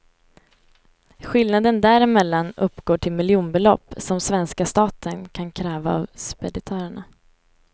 Skillnaden däremellan uppgår till miljonbelopp, som svenska staten kan kräva av speditörerna.